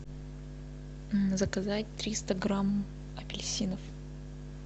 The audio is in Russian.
заказать триста грамм апельсинов